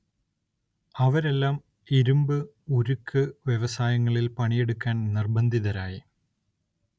അവരെല്ലാം ഇരുമ്പ്, ഉരുക്ക് വ്യവസായങ്ങളിൽ പണിയെടുക്കാൻ നിർബന്ധിതരായി.